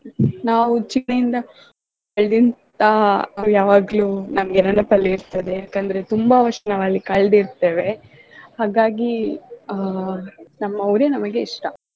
ನಾವು ಉಚ್ಚಿಲಯಿಂದ ಅಲ್ಲಿಂತ ಯಾವಾಗ್ಲೂ ನಮ್ಗೆ ನೆನಪಲ್ ಇರ್ತದೆ ಯಾಕಂದ್ರೆ ತುಂಬಾ ವರ್ಷ ನಾವಲ್ಲಿ ಕಳ್ದಿರ್ತೇವೆ ಹಾಗಾಗಿ ಅ ನಮ್ಮ ಊರೇ ನಮಗೆ ಇಷ್ಟ.